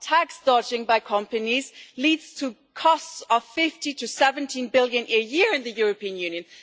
Tax dodging by companies leads to costs of EUR 15 to 17 billion a year in the European Union.